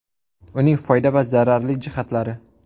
Uning foyda va zararli jihatlari.